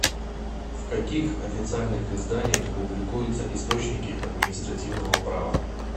в каких официальных изданиях публикуются источники административного права